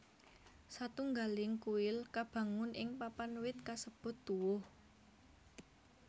Satunggaling kuil kabangun ing papan wit kasebut tuwuh